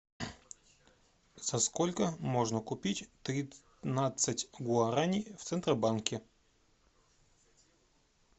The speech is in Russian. за сколько можно купить тринадцать гуарани в центробанке